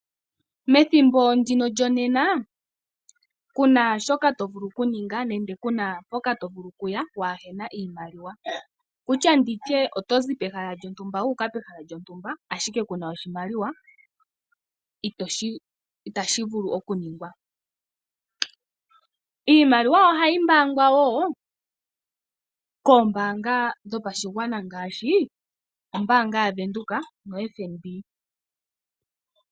Methimbo ndino lyonena ku na shoka to vulu okuninga nenge ku na mpoka to vulu okuya waa he na iimaliwa. Wu tya ndi tye oto zi pehala lyontumba wu uka pehala lyontumba, ashike ku na oshimaliwa, itashi vulu okuningwa. Iimaliwa ohayi mbaangwa woo koombaanga ngaashi ombaanga yaVenduka noFNB.